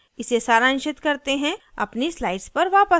इसे सारांशित करते हैं अपनी slides पर वापस आते हैं